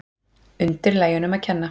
Undirlægjunum að kenna.